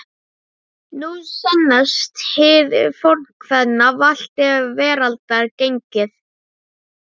Nú sannast hið fornkveðna: Valt er veraldar gengið.